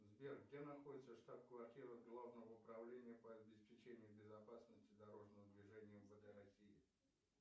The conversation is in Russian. сбер где находится штаб квартира главного управления по обеспечению безопасности дорожного движения мвд россии